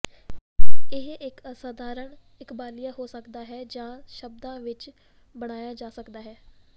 ਇਹ ਇਕ ਅਸਾਧਾਰਣ ਇਕਬਾਲੀਆ ਹੋ ਸਕਦਾ ਹੈ ਜਾਂ ਸ਼ਬਦਾਂ ਵਿਚ ਬਣਾਇਆ ਜਾ ਸਕਦਾ ਹੈ